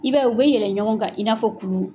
I b'a ye u bɛ yɛlɛn ɲɔgɔn kan i n'a fɔ kulu.